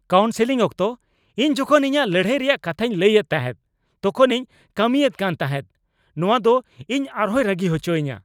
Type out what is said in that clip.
Counselling ᱚᱠᱛᱚ ᱤᱧ ᱡᱚᱠᱷᱚᱱ ᱤᱧᱟᱹᱜ ᱞᱟᱹᱲᱦᱟᱹᱭ ᱨᱮᱭᱟᱜ ᱠᱟᱛᱷᱟᱧ ᱞᱟᱹᱭ ᱮᱫ ᱛᱟᱦᱮᱸᱫ ᱛᱚᱠᱷᱚᱱᱤᱧ ᱠᱟᱹᱢᱤᱭᱮᱫ ᱠᱟᱱ ᱛᱟᱦᱮᱸᱫ ᱾ ᱱᱚᱶᱟ ᱫᱚᱯ ᱤᱧ ᱟᱨᱦᱚᱭ ᱨᱟᱹᱜᱤ ᱦᱚᱪᱚᱧᱟ ᱾